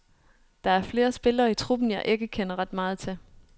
Der er flere spillere i truppen, jeg ikke kender ret meget til.